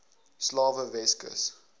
slawe weskus